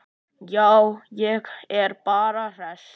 Já, ég er bara hress.